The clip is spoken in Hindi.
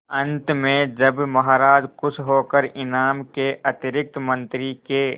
अंत में जब महाराज खुश होकर इनाम के अतिरिक्त मंत्री के